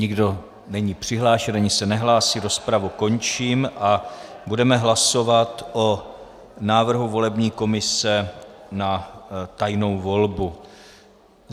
Nikdo není přihlášen ani se nehlásí, rozpravu končím a budeme hlasovat o návrhu volební komise na tajnou volbu.